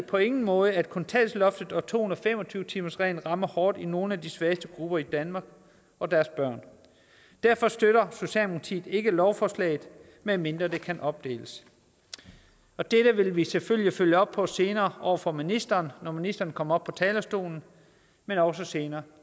på ingen måde at kontanthjælpsloftet og to hundrede og fem og tyve timersreglen rammer hårdt i nogle af de svageste grupper i danmark og deres børn derfor støtter socialdemokratiet ikke lovforslaget medmindre det kan opdeles det vil vi selvfølgelig følge op på senere over for ministeren når ministeren kommer op på talerstolen men også senere